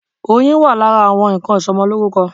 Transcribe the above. Oyin wà lára àwọn nnkan ìsọmọlórúkọ.